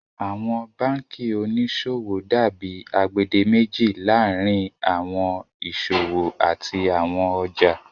Awọn bankí oníṣọwọ dàbí agbèdémèjì laárín awọn iṣọwọ àti awọn ọjà.